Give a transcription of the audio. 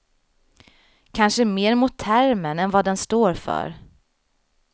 Kanske mer mot termen än vad den står för.